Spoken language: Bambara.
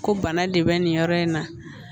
Ko bana de bɛ nin yɔrɔ in na